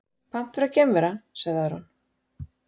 Pant vera geimvera, sagði Aron.